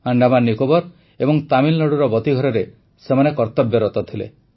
ଆଣ୍ଡାମାନ ନିକୋବର ଏବଂ ତାମିଲନାଡ଼ୁର ବତୀଘରରେ ସେମାନେ କର୍ତବ୍ୟରତ ଥିଲେ